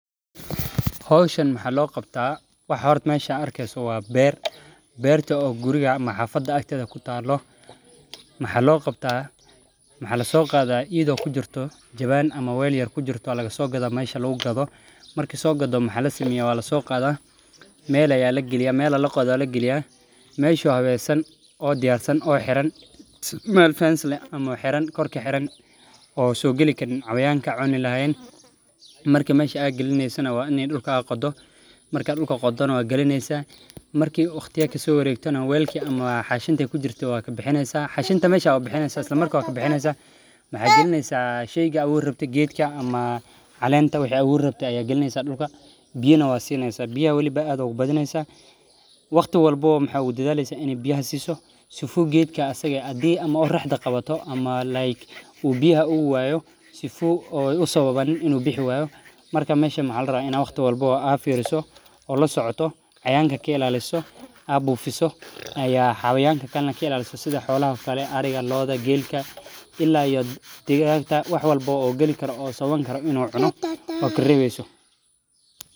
Hoshan maxaalo qabtaa waxa horta mesha aa arkeyso waa beer berta oo guriga ama xafada agtedha kutalo maxaa li qabta maxaa lasoqadha idho weel yar kujirto ama lasogadha marki lasogadho meel aya laqodha oo la galiya mesha oo habesan oo diyar san meel fencers leh ama xiran oo kor ka xiran waa in aa dul qodo oo isla markas ba xanshida aa ka bixisa maxaa galineysa sheyga aa aburi rabte biyana waa sineysa waqti walbo maxaa ogu dadhaleysa in aa sifa u usababanin xayawanka ariga lodha iyo gelka waxyalaha sawabi karo in u cuno oo kareqeyso.